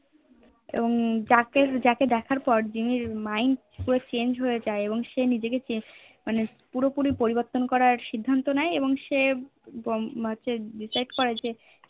এবং যাকে দেখার পরে জিম্মির Mind পুরো Change হয়ে যাই সে নিকিকে মানে পুরো পুরি পরিবর্তন করার সিদ্ধান্ত নিয়ে এবং Decide করে